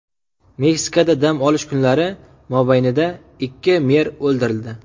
Meksikada dam olish kunlari mobaynida ikki mer o‘ldirildi.